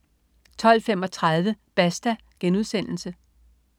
12.35 Basta*